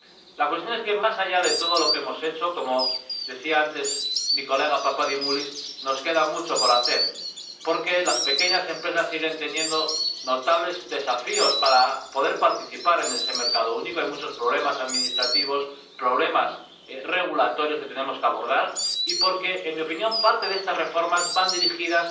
La cuestión es que, más allá de todo lo que hemos hecho, como decía antes mi colega Papadimoulis, nos queda mucho por hacer, porque las pequeñas empresas siguen teniendo notables desafíos para poder participar en ese mercado único —hay muchos problemas administrativos, problemas regulatorios que tenemos que abordar—, y porque, en mi opinión, parte de estas reformas van dirigidas